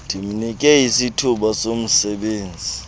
ndimnike isithuba somsebenzi